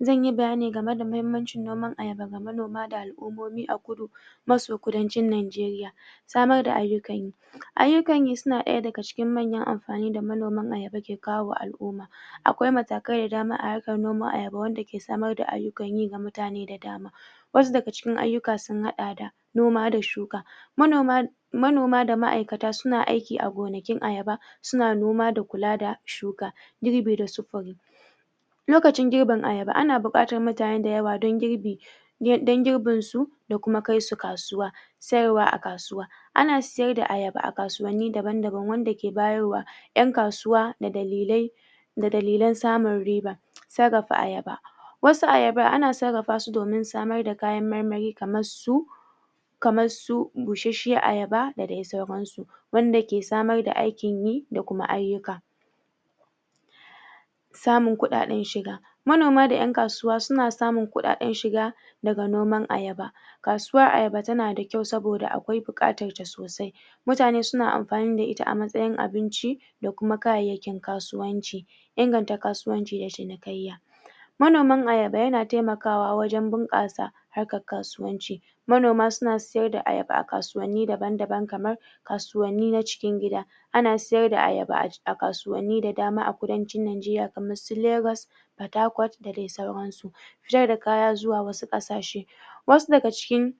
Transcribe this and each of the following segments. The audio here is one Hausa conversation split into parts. zan yi bayani game da mahimmancin noman ayaba ga manoma da al'umomi a kudu masu kudancin najeria samar da ayukan yi ayukan yi suna daya dagacikin manyan anfani da manoman ayaba ke kawo wa al'umma akwai matakai da dama a harkan noman ayaba wanda ke samar da ayukan yi wa mutane da dama wasu da ga cikin ayukan sun hada da noma da shuka manoma manoma da ma aikta suna aiki a gonakin ayaba suna noma da kula da shuka girbi da sufari locacin girbin ayaba ana bukatan mutane dayawa don girbi don girbin su da kuma kai su kasuwa sayarwa a kasuwa ana siyar da ayaba a kasuwanni daban daban wan da ke bayar wa yan kasuwa da dalilai da dalilan samin riba sarrafa ayaba wasu ayaban ana sarrafa su domin samar da kayan marmari kamar su kamar su bushashan ayaba da dai sauran su wanda ke samar da aikin yi da kuma ayuka da samin kudaden shiga manoma da yan kasuwa suna samin kudaden shiga daga noman ayaba kasuwan ayaba da na da kwau saboda akwai bukatan sa sosai mutane suna anfani da ita a masayin abinci da kuma kayakin kasuwanci inganta kasuwan ci da cinikayya manoman ayaba yana taimaka wa wajen bunkasa harkan kasuwan ci manoma suna siyar da ayaba a kasuwanni daban daban kamar kasuwanni na cikin gida ana siyar da ayaba a kasuwanni da dama a kudancin najeria kamar su lagos, porthacourt da dai sauran su fitar da kaya zuwa wasu kasashe wasu daga cikin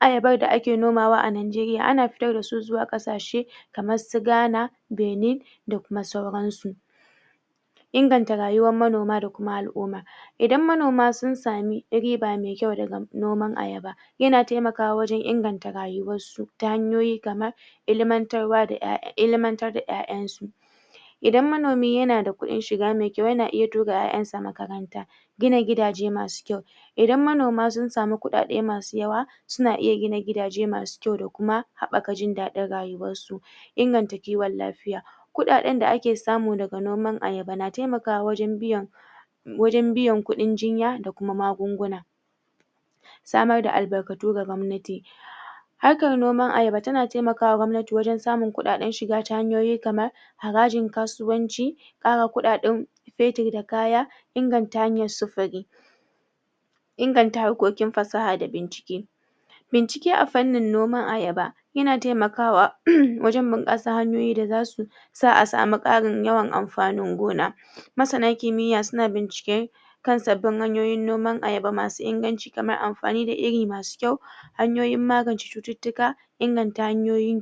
ayabar da ake noma wa a najeria ana fitar da su zuwa kasa she kamar su Ghana, benin da kuma sauran su inganta rayuwan manoma da kuma al'umma idan manoma sun sami riba mai kwau daga noman ayaba ya na taimakawa wajen inganta rayuwansu ta hanyoyi kamar ilimantar wa da ilimantar da ya'yan su idan manomi yana da kudin shiga mai kwau yana iya tura ya'yan sa makaranta gina gidaje masu kwau idan manoma sun sami kudade masu yawa suna iya gina gidaje masu kwau da kuma habakar jin dadin rayuwansu inganta kiwon lafiya kudaden da ake samu daga noman ayaba na taimaka wajen biyan wajen biyan kudin jinya da kuma magunguna samar da albarkatu wa gwabnati harkan noman ayabe yana taimaka wa gwabnati wajen samin kudaden shiga ta hanyoyi kamar harajin kasuwanci kara kudaden fetir da kawa inganta hanyan sufuri inganta harkokin fasaha da bincike bincike a fannain noman ayaba yana taimakawa wajen bunkasan hanyoyin da zasu sami karin yawan anfanin gona masana kimiya suna bincike kan sabbin hanyoyin noman ayaba masu inganci kamar amfani da iri masu kwau hanyoyin magance chututtuka inganta hayoyin